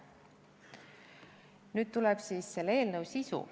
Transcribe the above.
Nüüd tuleb selle eelnõu sisu.